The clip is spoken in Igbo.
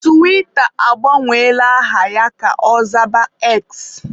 Tiwita agbanwela aha ya ka ọ zaba X.